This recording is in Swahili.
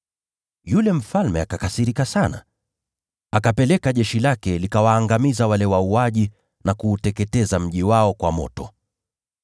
Yule mfalme akakasirika sana, akapeleka jeshi lake likawaangamiza wale wauaji na kuuteketeza mji wao kwa moto.